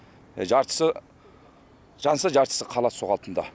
жартысы жанса жартысы қалады сол қалпында